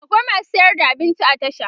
akwai masu sayar da abinci a tasha